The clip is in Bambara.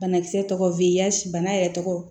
Banakisɛ tɔgɔ f'i ye yan bana yɛrɛ tɔgɔ